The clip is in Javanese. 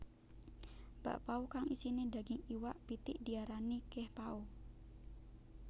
Bakpao kang isiné daging iwak pitik diarani kehpao